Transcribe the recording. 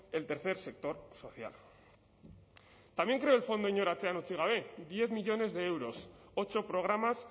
el tercer sector social también creó el fondo inor atzean utzi gabe diez millónes de euros ocho programas